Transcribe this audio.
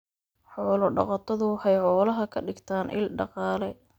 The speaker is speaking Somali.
Xoolo dhaqatadu waxay xoolaha ka dhigtaan il dhaqaale.